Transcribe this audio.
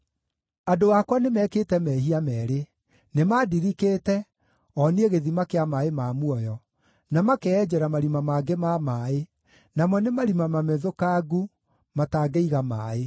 “Andũ akwa nĩmekĩte mehia meerĩ: Nĩmandirikĩte, o niĩ gĩthima kĩa maaĩ ma muoyo, na makeyenjera marima mangĩ ma maaĩ, namo nĩ marima mamethũkangu, matangĩiga maaĩ.